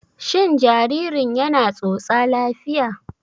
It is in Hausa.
Shin jaririn yana tsotsa lafiya?